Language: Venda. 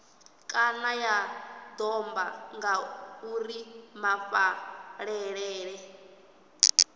kana ya domba ngauri mafhaṱele